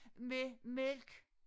Med mælk